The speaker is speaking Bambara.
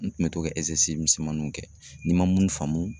N tun bɛ to ka misɛmaninw kɛ n ma mun faamu